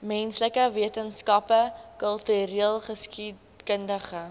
menslike wetenskappe kultureelgeskiedkundige